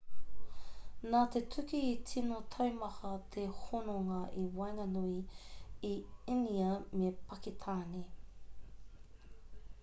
nā te tuki i tino taumaha te hononga i waenganui i īnia me pakitāne